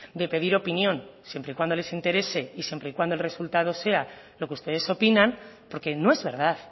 de pedir opinión siempre y cuando les interese y siempre y cuando el resultado sea lo que ustedes opinan porque no es verdad